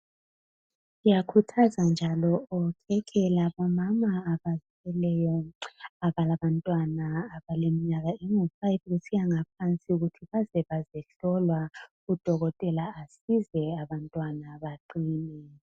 Ngiyakhuthaza njalo bonke omama abazithweleyo laba bantwana abaleminyaka engu5 kusiyaphansi ukuthi bazebazohlolwa udokotela asize abantwana baqine.